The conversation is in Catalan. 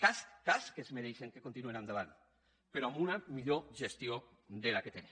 cas que es mereixen que continuen endavant però amb una millor gestió que la que tenen